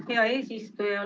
Aitäh, hea eesistuja!